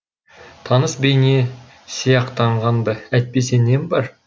таныс бейне сияқтанған ды әйтпесе нем бар